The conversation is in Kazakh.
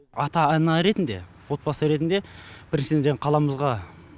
ата ана ретінде отбасы ретінде біріншіден жаңағы қаламызға